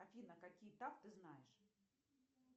афина какие таф ты знаешь